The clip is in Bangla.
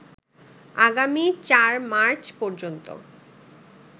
আগামী ৪ মার্চ পর্যন্ত